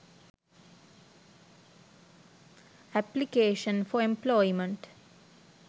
application for employment